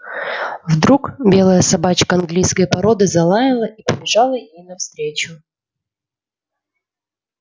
вдруг белая собачка английской породы залаяла и побежала ей навстречу